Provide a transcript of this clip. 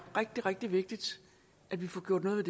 rigtig rigtig vigtigt at vi får gjort noget